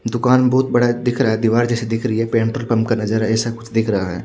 दुकान बहुत बड़ा दिख रहा है दीवार जैसे दिख रही है का नजारा ऐसा कुछ दिख रहा है।